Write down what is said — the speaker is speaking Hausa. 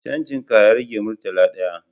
Canjin ka ya rage murtala ɗaya